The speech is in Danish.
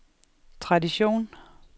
tradition